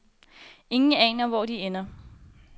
Ingen aner, hvor de ender.